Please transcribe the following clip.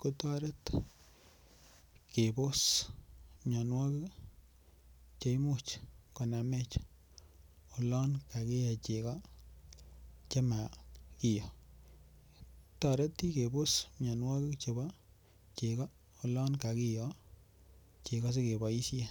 kotoret kebos mianwogik Che Imuch konamech oloon kakiye chego Che ma kiyoo kitoreti kebos mianwogik chebo chego olon kakiyoo chego asi keboisien